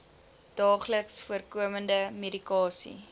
daagliks voorkomende medikasie